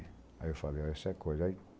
Aí eu falei, essa coisa.